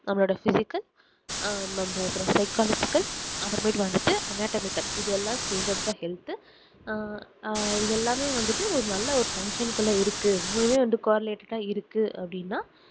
நம்மளோட physical ஆஹ் நம்மஅப்புறம் psychological அப்புறம் மேட்டு வந்துட்டு anatomical இது எல்லாம் சேர்ந்தது தான் health ஆஹ் இது எல்லாமே வந்துட்டு ஒரு நல்ல ஒரு function ல இருக்கு மூணுமே வந்து correlate இருக்கு அப்படினா